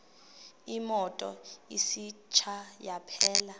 imoto isitsha yaphela